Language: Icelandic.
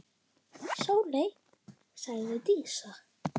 Sóley, sagði Dísa.